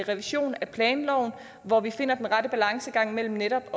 revision af planloven hvor vi finder den rette balancegang mellem netop